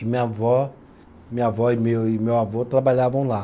E minha avó, minha avó e meu, e meu avô trabalhavam lá.